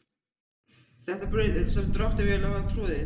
Þetta er braut sem dráttarvélar hafa troðið.